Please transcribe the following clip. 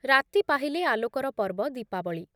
ରାତି ପାହିଲେ ଆଲୋକର ପର୍ବ ଦୀପାବଳି ।